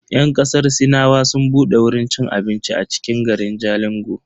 Yan kasar sinawa sun bude wurin ci abincin a cikin garin Jalingo.